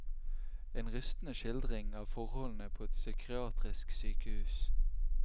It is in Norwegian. En rystende skildring av forholdene på et psykiatrisk sykehus.